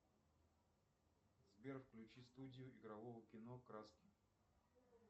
сбер включи студию игрового кино краски